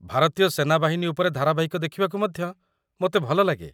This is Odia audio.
ଭାରତୀୟ ସେନାବାହିନୀ ଉପରେ ଧାରାବାହିକ ଦେଖିବାକୁ ମଧ୍ୟ ମୋତେ ଭଲଲାଗେ।